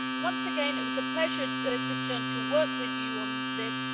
Once again, it was a pleasure, Cristian, to work with you on this.